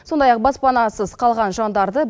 сондай ақ баспанасыз қалған жандарды